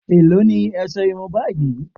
Èló ni ọṣẹ irun báyìí